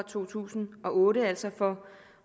to tusind og otte altså for